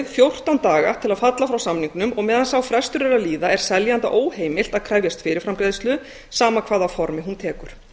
fjórtán daga til að falla frá samningnum og meðan sá frestur er að líða er seljanda óheimilt að krefjast fyrirframgreiðslu sama hvaða formi hún tekur